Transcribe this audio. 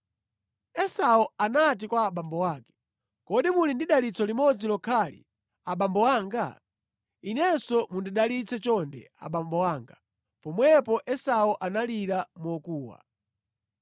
Esau anati kwa abambo ake, “Kodi muli ndi dalitso limodzi lokhali, abambo anga? Inenso mundidalitse chonde abambo anga!” Pomwepo Esau analira mokuwa.